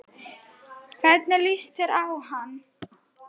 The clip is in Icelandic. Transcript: Hvernig líst þér á hann?